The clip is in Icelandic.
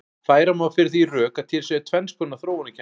Færa má fyrir því rök að til séu tvenns konar þróunarkenningar.